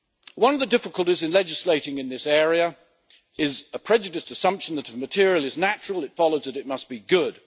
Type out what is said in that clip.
One of the difficulties in legislating in this area is a prejudiced assumption that if a material is natural, it follows that it must be good.